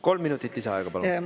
Kolm minutit lisaaega, palun!